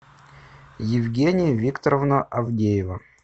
евгения викторовна авдеева